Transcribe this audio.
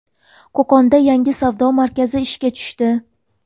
Qo‘qonda yangi savdo markazi ishga tushdi.